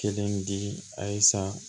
Kelen di a san